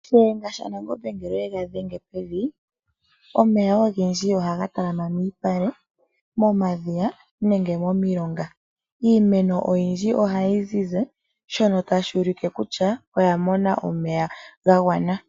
Shiyanga shaNangombe ngele oye ga dhenge pevi, omeya ogendji ohaga talama miipale, momadhiya nenge momilonga. Iimeno oyindji ohayi zizi shono tashi ulike kutya oya mona omeya ga gwana.